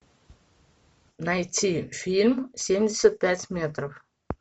найти фильм семьдесят пять метров